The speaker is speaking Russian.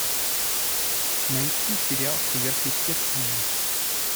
найти сериал сверхъестественное